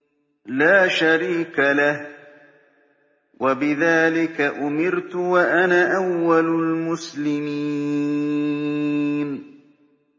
لَا شَرِيكَ لَهُ ۖ وَبِذَٰلِكَ أُمِرْتُ وَأَنَا أَوَّلُ الْمُسْلِمِينَ